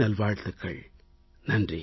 நெஞ்சம்நிறை நல்வாழ்த்துகள்